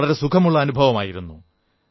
വളരെ സുഖമുള്ള അനുഭവമായിരുന്നു